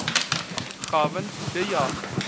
gavin de jager